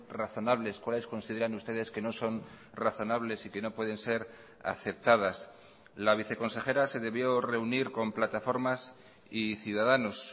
razonables cuáles consideran ustedes que no son razonables y que no pueden ser aceptadas la viceconsejera se debió reunir con plataformas y ciudadanos